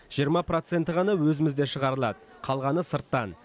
жиырма проценті ғана өзімізде шығарылады қалғаны сырттан